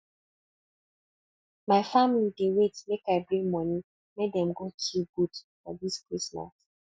my family dey wait make i bring moni make dem kill goat for dis christmas